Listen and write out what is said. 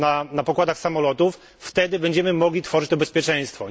na pokładach samolotów, wtedy będziemy mogli tworzyć to bezpieczeństwo.